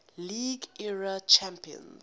league era champions